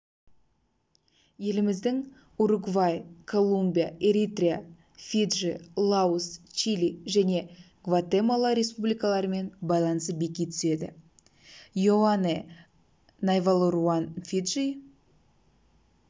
еліміздің уругвай колумбия эритрия фиджи лаос чили және гватемала республикаларымен байланысы беки түседі иоане найвалуруан фиджи